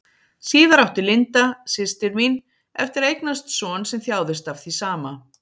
Síðar átti Linda, systir mín, eftir að eignast son sem þjáðist af því sama.